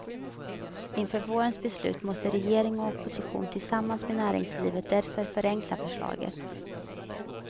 Inför vårens beslut måste regering och opposition tillsammans med näringslivet därför förenkla förslaget.